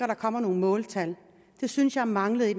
der kommer nogle måltal det synes jeg manglede i